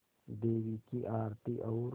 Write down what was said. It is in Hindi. देवी की आरती और